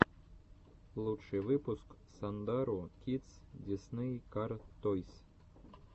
лучший выпуск сандару кидс дисней кар тойс